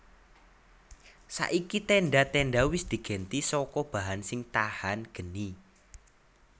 Saiki tendha tendha wis digenti saka bahan sing tahan geni